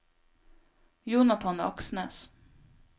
Jonathan Aksnes